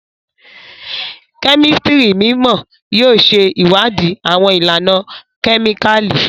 Kemistri mimọ yóò ṣe ìwádìí awọn ìlànà kemikali